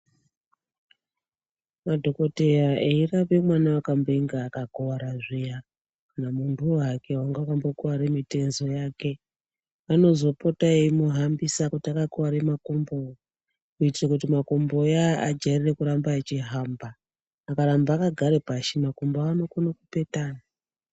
Madhokodheya eirape mwana wakambonge akambokuwara zviya kana muntuwo hake wange akambokuwara mutezo yake vanozopota eimuhambisa kuti akakuware makumbo kuitire kumakombo iyaya ajairire kuramba achihamba akaramba akagara pashi makumbo anokona kupetana.